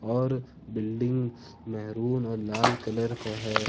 और building maroon और लाल कलर का है।